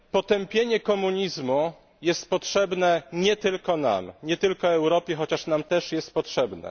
Potępienie komunizmu jest potrzebne nie tylko nam, nie tylko Europie, chociaż nam też jest potrzebne.